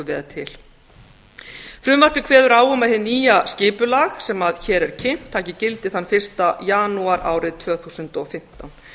vel til frumvarpið kveður á um að hið nýja skipulag sem hér er kynnt taki gildi þann fyrsta janúar árið tvö þúsund og fimmtán